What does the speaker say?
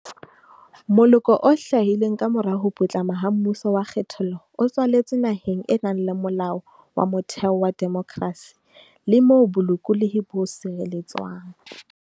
Moloko o hlahileng kamora ho putlama ha mmuso wa kgethollo o tswaletswe naheng e nang le Molao wa Motheo wa demokrasi le moo bolokolohi bo sireletswang.